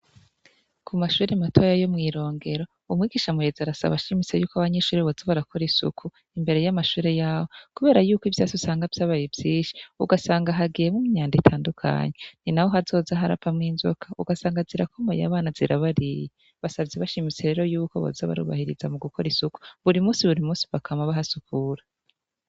Ku mashure matoya yo mw'irongero, umwigisha amuyezi arasabashimise yuko abanyishure bozabarakora isuku imbere y'amashure yawo, kubera yuko ivyasi usanga vy'abayevyishi ugasanga hagiyemwo myando itandukanyu, ni na ho hazozaharapa mw'inzoka ugasanga azirakomoye abana zirabariye basavye bashimise rero yuko boza abarubahiriza mu gukora isuku buri musi buri musi bakama bahasukura.